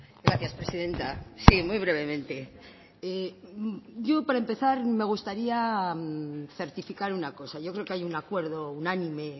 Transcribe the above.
gracias presidenta sí muy brevemente yo para empezar me gustaría certificar una cosa yo creo que hay un acuerdo unánime